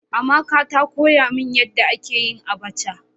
Amaka ta koya min yanda ake yin "abacha".